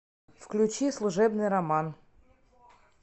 включи служебный роман